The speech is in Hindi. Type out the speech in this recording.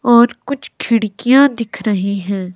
और कुछ खिड़कियां दिख रही हैं।